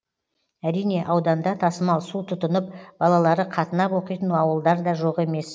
әрине ауданда тасымал су тұтынып балалары қатынап оқитын ауылдар да жоқ емес